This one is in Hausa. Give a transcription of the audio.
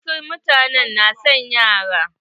Wasu mutane na son yara.